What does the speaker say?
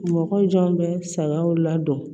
Mɔgɔ jɔn bɛ sagaw la dɔn